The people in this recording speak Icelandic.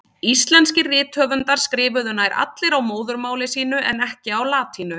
Íslenskir rithöfundar skrifuðu nær allir á móðurmáli sínu, en ekki á latínu.